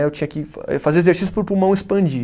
Aí eu tinha que fa fazer exercício para o pulmão expandir.